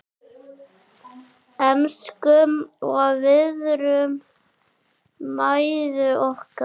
Elskum og virðum mæður okkar.